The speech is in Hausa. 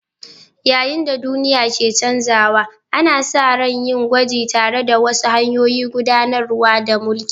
Yayin da duniya ke canzawa, ana sa ran yin gwaji tare da wasu hanyoyin gudanar da mulki.